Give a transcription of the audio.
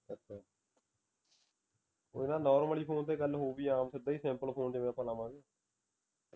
ਕੋਈ ਨਾ normally phone ਤੇ ਗੱਲ ਹੋਉਗੀ ਆਮ ਸਿੱਧਾ ਹੀ simple phone ਤੇ ਫਿਰ ਆਪਾ ਲਾਵਾਂਗੇ